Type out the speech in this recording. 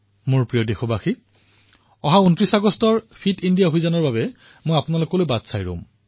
মোৰ মৰমৰ দেশবাসীসকল ২৯ আগষ্টত ফিট ইণ্ডিয়াত মই আপোনালোকলৈ অপেক্ষা কৰিম